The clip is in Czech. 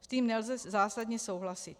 S tím nelze zásadně souhlasit.